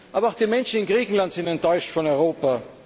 Aber auch die Menschen in Griechenland sind enttäuscht von Europa.